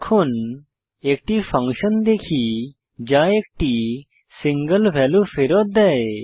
এখন একটি ফাংশন দেখি যা একটি সিঙ্গল ভ্যালু ফেরত দেয়